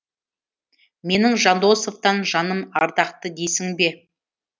менің жандосовтан жаным ардақты дейсің бе